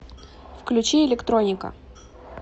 включи электроника